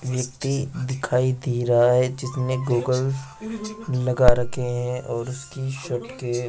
व्यक्ति दिखाई दे रहा है जिसने गॉगल लगा रखे हैं और उसकी शर्ट के --